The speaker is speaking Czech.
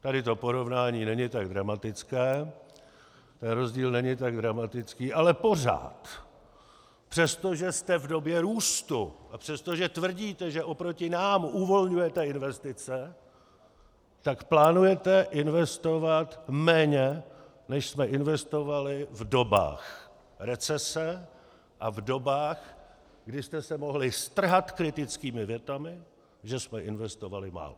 Tady to porovnání není tak dramatické, ten rozdíl není tak dramatický, ale pořád, přestože jste v době růstu a přestože tvrdíte, že oproti nám uvolňujete investice, tak plánujete investovat méně, než jsme investovali v dobách recese a v dobách, kdy jste se mohli strhat kritickými větami, že jsme investovali málo.